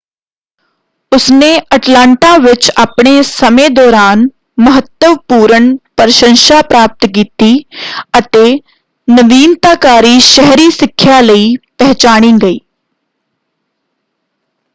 ਉਸਨੇ ਅਟਲਾਂਟਾ ਵਿੱਚ ਆਪਣੇ ਸਮੇਂ ਦੌਰਾਨ ਮਹੱਤਵਪੂਰਨ ਪ੍ਰਸ਼ੰਸਾ ਪ੍ਰਾਪਤ ਕੀਤੀ ਅਤੇ ਨਵੀਨਤਾਕਾਰੀ ਸ਼ਹਿਰੀ ਸਿੱਖਿਆ ਲਈ ਪਹਿਚਾਣੀ ਗਈ।